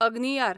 अग्नियार